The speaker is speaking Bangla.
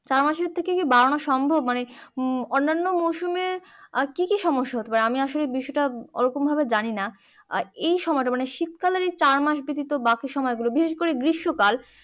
চার মাসের থেকে বাড়ানো কি সম্ভব মানে অন্যান্য মরসুমে আর কি কি সমস্যা হতে পারে আমি আসলে বিষয়টা ওরম ভাবে জানিনা আর এসময়টা মানে শীতকালে যদি চারমাস ব্যাতিত বাকি সময়গুলো বিশেষ করে গ্রীস্মকাল